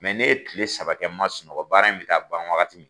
ne ye tile saba kɛ n man sunɔgɔ bara in bɛ taa ban wagati min